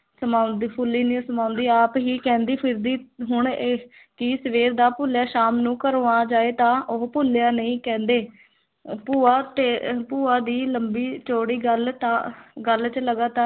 ਸਮਾਉਂਦੀ ਫੁੱਲੀ ਨਹੀਂ ਸਮਾਉਂਦੀ ਆਪ ਹੀ ਕਹਿੰਦੀ ਫਿਰਦੀ ਹੁਣ ਇਹ ਕਿ ਸਵੇਰ ਦਾ ਭੁੱਲਿਆ ਸ਼ਾਮ ਨੂੰ ਘਰੋਂ ਆ ਜਾਏ ਤਾਂ ਉਹ ਭੁੱਲਿਆ ਨਹੀਂ ਕਹਿੰਦੇ ਅਹ ਭੂਆ ਤੇ ਭੂਆ ਦੀ ਲੰਬੀ ਚੌੜੀ ਗੱਲ ਤਾਂ ਗੱਲ ਚ ਲਗਾਤਾਰ